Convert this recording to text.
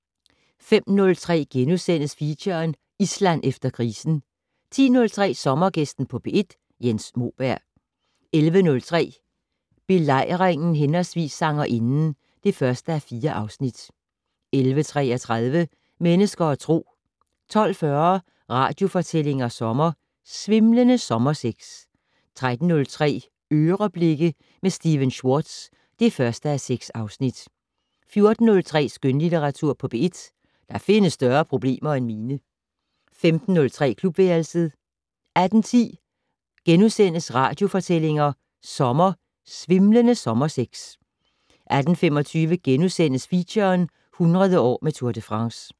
05:03: Feature: Island efter krisen * 10:03: Sommergæsten på P1: Jens Moberg 11:03: Belejringen/Sangerinden (1:4) 11:33: Mennesker og Tro 12:40: Radiofortællinger sommer: Svimlende sommersex 13:03: "Øreblikke" med Stephen Schwartz (1:6) 14:03: Skønlitteratur på P1: Der findes større problemer end mine 15:03: Klubværelset 18:10: Radiofortællinger sommer: Svimlende sommersex * 18:25: Feature - 100 år med Tour de France *